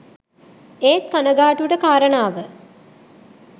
ඒත් කණගාටුවට කාරණාව